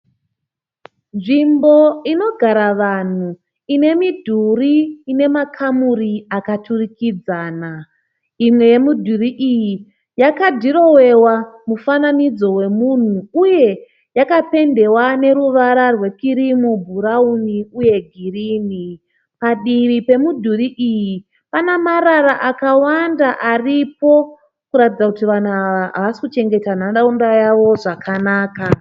Nzvimbo inogara vanhu ine midhuri ine makamuri akaturikidzana . Imwe yemidhuri iyi yakadhirowiwa mufananidzo wemunhu, uye yakapendewa neruvara rwekirimu , bhurauni uye girini. Padivi pemudhuri iyi pane marara akawanda aripo kuratidza kuti vanhu ava havasi kuchengeta nharaunda yavo zvakanaka.